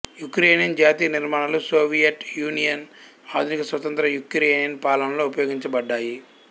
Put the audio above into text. Ukraine జాతీయ నిర్మాణాలు Soviet Union ఆధునిక స్వతంత్ర యుక్రెయిన్ పాలనలో ఉపయోగించబడ్డాయి